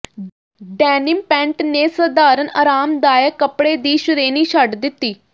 denim pant ਨੇ ਸਧਾਰਣ ਆਰਾਮਦਾਇਕ ਕੱਪੜੇ ਦੀ ਸ਼੍ਰੇਣੀ ਛੱਡ ਦਿੱਤੀ